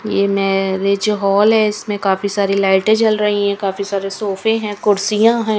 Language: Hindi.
ये मैरिज हॉल है इसमें काफी सारी लाइटें जल रही हैं काफी सारे सोफे हैं कुर्सियां हैं।